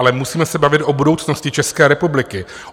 Ale musíme se bavit o budoucnosti České republiky.